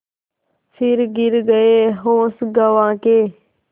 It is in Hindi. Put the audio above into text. फिर गिर गये होश गँवा के